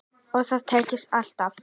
Og það tekst ekki alltaf.